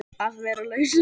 Að vera laus við